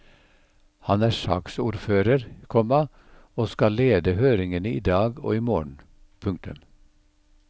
Han er saksordfører, komma og skal lede høringene i dag og i morgen. punktum